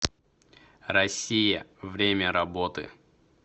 россия время работы